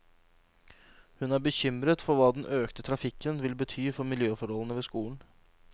Hun er bekymret for hva den økte trafikken vil bety for miljøforholdene ved skolen.